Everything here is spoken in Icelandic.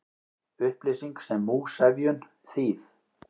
Upplýsing sem múgsefjun, þýð.